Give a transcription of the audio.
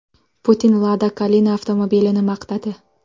Putin Lada Kalina avtomobilini maqtadi.